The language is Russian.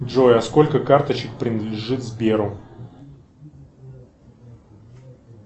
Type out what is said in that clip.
джой а сколько карточек принадлежит сберу